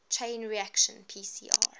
chain reaction pcr